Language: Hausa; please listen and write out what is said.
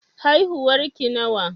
Haihuwar ki nawa?